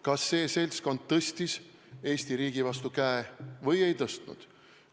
Kas see seltskond tõstis Eesti riigi vastu käe või ei tõstnud?